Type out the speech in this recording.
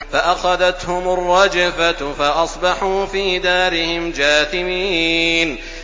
فَأَخَذَتْهُمُ الرَّجْفَةُ فَأَصْبَحُوا فِي دَارِهِمْ جَاثِمِينَ